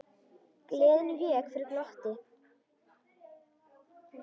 Gleðin vék fyrir glotti.